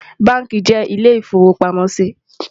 bánkì jé ilé ifọ̀wopàmọ sí